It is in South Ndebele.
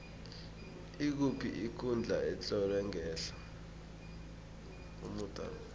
ikuphi ikundla etlolwe ngehla komuda lo